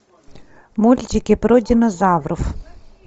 мультики про динозавров